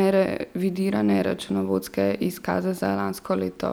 nerevidirane računovodske izkaze za lansko leto.